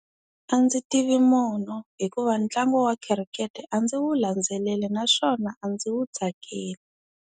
A ndzi tivi munhu, hikuva ntlangu wa khirikete a ndzi wu landzeleli naswona a ndzi wu tsakeli.